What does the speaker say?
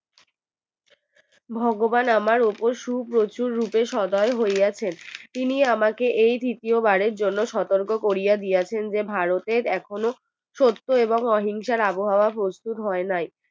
ভগবান আমার উপর সুপ্রচুর রূপে সদয় হইয়াছেন তিনি আমাকে এই তৃতীয় বারের জন্য সতর্ক করে দিয়েছেন যে ভারতের এখনও সত্য এবং অহিংসার আবহাওয়া প্রস্তুত হয় নাই